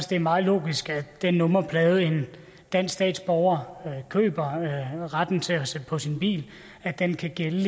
det er meget logisk at den nummerplade en dansk statsborger køber retten til at sætte på sin bil kan gælde